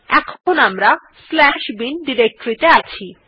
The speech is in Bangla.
এখন আমরা bin ডিরেক্টরী ত়ে আছি